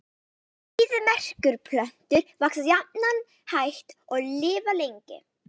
Eyðimerkurplöntur vaxa jafnan hægt og lifa lengi.